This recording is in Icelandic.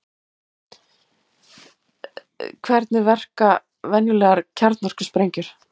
Hvernig verka venjulegar kjarnorkusprengjur?